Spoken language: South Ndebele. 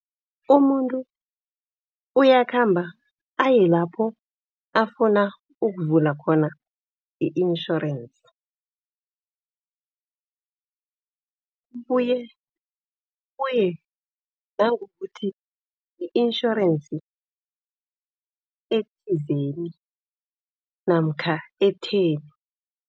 Umuntu uyakhamba aye lapho afuna ukuvula khona i-insurance. Kubuye kuye nangokuthi i-insurance ethizeni namkha etheni.